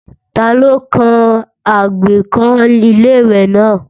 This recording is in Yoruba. Ta ló kán àgbékọ́ Ilé-ìwẹ̀ náà